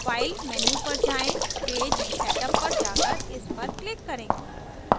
file menu पर जाएँ page setup पर जाकर इस पर click करें